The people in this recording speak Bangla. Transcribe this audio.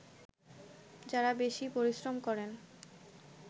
যাঁরা বেশি পরিশ্রম করেন